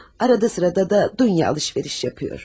Arada sırada da dünya alış-veriş edir.